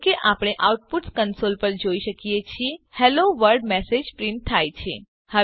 જેવું કે આપણે આઉટપુટ કંસોલ પર જોઈ શકીએ છીએ હેલોવર્લ્ડ મેસેજ પ્રીંટ થાય છે